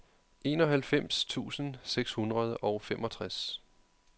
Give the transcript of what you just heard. enoghalvfems tusind seks hundrede og femogtres